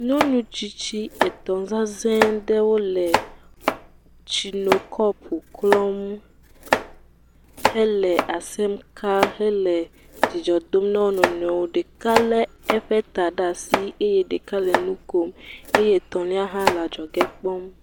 Nyɔnu tsitsi etɔ̃ zãzɛ aɖewo le tsinokɔpo klɔm hele asem ka hele dzidzɔ dom ne wo nɔnɔewo ŋu. Ɖeka lé eƒe ta ɖe asi, eye ɖeka le nu kom eye etɔ̃lia hã le dzɔge kpɔm.